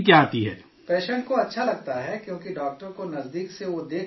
patient کو اچھا لگتا ہے کیوں کہ ڈاکٹر کو نزدیک سے وہ دیکھ پاتا ہے